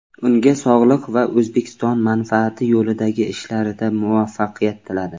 Unga sog‘liq va O‘zbekiston manfaati yo‘lidagi ishlarida muvaffaqiyat tiladi.